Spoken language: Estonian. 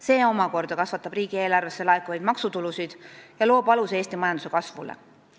See omakorda kasvatab riigieelarvesse laekuvaid maksutulusid ja loob aluse Eesti majanduse kasvule.